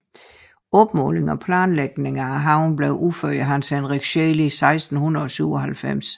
Opmåling og planlægning af haven blev udført af Hans Henrik Scheel i 1697